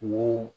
Wo